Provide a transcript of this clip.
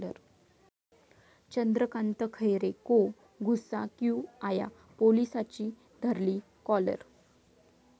चंद्रकांत खैरे को गुस्सा क्यू आया',पोलिसाची धरली काॅलर